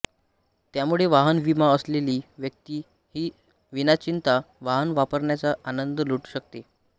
त्यामुळे वाहन विमा असलेली व्यक्ती ही विनाचिंता वाहन वापरण्याचा आनंद लुटू शकते